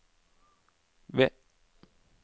V